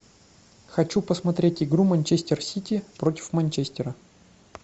хочу посмотреть игру манчестер сити против манчестера